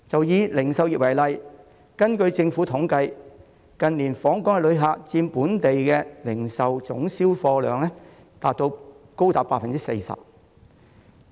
以零售業為例，根據政府統計，近年訪港旅客的開支佔本地零售總銷貨量高達 40%。